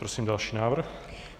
Prosím další návrh.